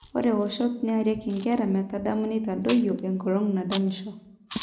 Ore woshot nearaki nkera metadamu nitadoyio engolon nadamisho.